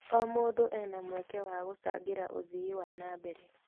O mũndũ ena mweke wa gũcangĩra ũthii wa na mbere.